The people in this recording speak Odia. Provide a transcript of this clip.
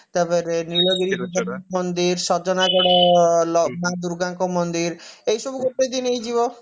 ତାପରେ ନୀଳଗିରି ମନ୍ଦିର ସଜନାଗଡ ମା ଦୂର୍ଗାଙ୍କ ମନ୍ଦିର ଏଇ ସବୁ ଗୋଟେ ଦିନ ହେଇଯିବ